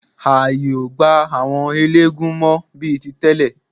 Ààyè ò gba àwọn eléégún mọ́ bí i tí tẹ́lẹ̀.